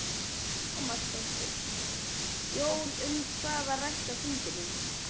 Lára Ómarsdóttir: Jón, um hvað var rætt á fundinum?